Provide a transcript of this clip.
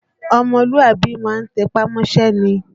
Ọmọlúàbí má ń tẹpá mọ́ṣẹ́ ni